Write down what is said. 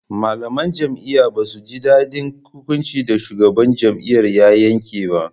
Malaman jami'ar ba su ji daɗin hukunci da shugaban jami'ar ya yanke ba